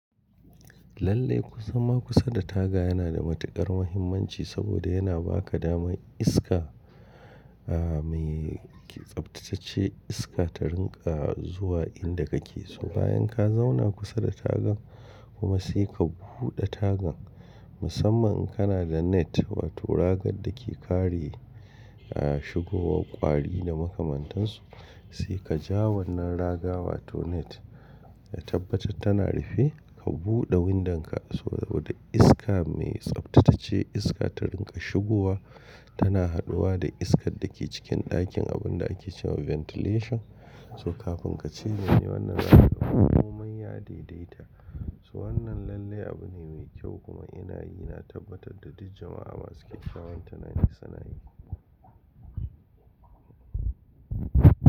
Lallai zama kusa da taga yana da matukar muhimmanci saboda yana ba ka damar iska mai tsaftatacce iska ta rinƙa zuwa inda ka ke so. Bayan ka zauna kusa da tagan kuma sai ka buɗe tagan musamman in kana da net wato raga da ke kare shigowa ƙwari da makamantansu sai ka ja wannan raga wato net ka tabbatar tana rufe ka buɗe windanka saboda iska mai tsaftatacce iska ta rinƙa shigowa tana haduwa da iskar da ke cikin ɗakin abunda ake cewa ventilation. To kafin ka ce zanyi wannan raga ko manya dai dai ta. To wannan lallai abu ne mai kyau kuma ina yi na tabbatar da duk jama'a masu kyakkyawan tunani sunayi.